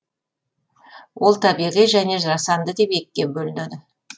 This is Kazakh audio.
ол табиғи және жасанды деп екіге бөлінеді